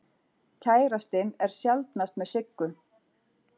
Kærastinn er sjaldnast með Siggu.